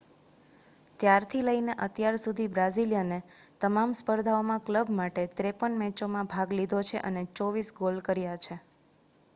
ત્યારથી લઈને અત્યાર સુધી બ્રાઝિલિયને તમામ સ્પર્ધાઓમાં ક્લબ માટે 53 મેચોમાં ભાગ લીધો છે અને 24 ગોલ કર્યા છે